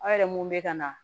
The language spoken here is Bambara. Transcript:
Aw yɛrɛ mun bɛ ka na